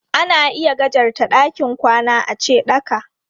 Ana iya gajarta ɗakin kwana ace ɗaka.